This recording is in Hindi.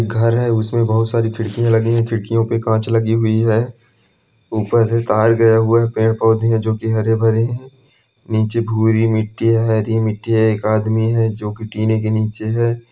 घर है उसमें बहुत सारी खिड़कियां लगी है खिड़कियों पर कांच लगी हुई है ऊपर से तार गया हुआ है पेड़ पौधे हैं जो की हरे भरे हैं नीचे बुरी मिट्टी हरी मिट्टी है एक आदमी है जो कि पीने के नीचे है।